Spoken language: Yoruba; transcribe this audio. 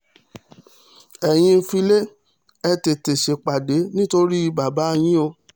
ẹ̀yin filé ẹ̀ tètè ṣèpàdé nítorí bàbá yín o